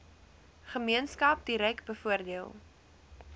gemeenskap direk bevoordeel